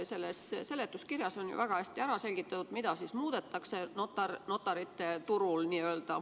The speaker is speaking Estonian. Selles seletuskirjas on ju väga hästi selgitatud, mida muudetakse n-ö notarite turul.